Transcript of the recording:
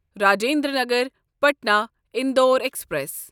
Rajendra Nagar Patna Indore express